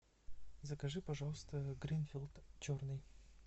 закажи пожалуйста гринфилд черный